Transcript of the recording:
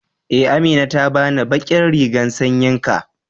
e, Amina ta bani ɓaƙin rigan sanƴin ka.